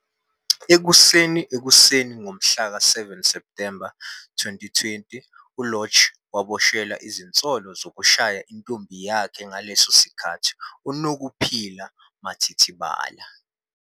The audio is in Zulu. Ekuseni ekuseni ngomhlaka 7 Septhemba 2020, uLorch waboshelwa izinsolo zokushaya intombi yakhe ngaleso sikhathi, uNokuphiwa Mathithibala.